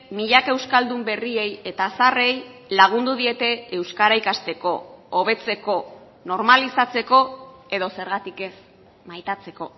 milaka euskaldun berriei eta zaharrei lagundu diete euskara ikasteko hobetzeko normalizatzeko edo zergatik ez maitatzeko